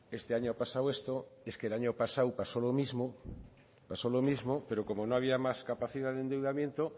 este año ha pasado esto y es que el año pasado pasó lo mismo pero como no había más capacidad de endeudamiento